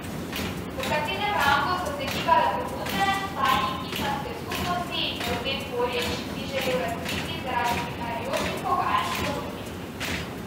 V katerem rangu so se gibale ponudbe, tajnik islamske skupnosti Nevzet Porić ni želel razkriti zaradi prihajajočih pogajanj s ponudniki.